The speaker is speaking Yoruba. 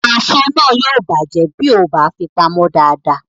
Èso náà yóò bàjẹ́ bí o kò bá fi pamọ́ dáadáa